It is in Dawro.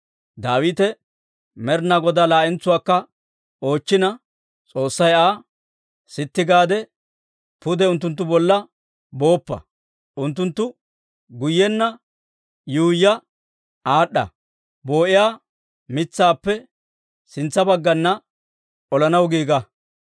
Daawite Med'inaa Godaa laa'entsuwaakka oochchina, S'oossay Aa, «Sitti gaade pude unttunttu bolla booppa; unttunttu guyyenna yuuyya aad'd'a, Boo'iyaa mitsaappe sintsa baggana olanaw giiga.